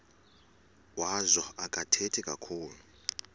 wazo akathethi kakhulu